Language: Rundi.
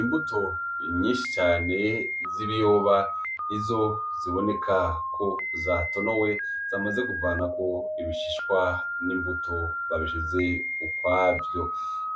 Imbuto nyinshi cane z'ibiyoba rizo ziboneka ko zatonowe zamaze kuvanako ibishishwa n'imbuto babishize ukwavyo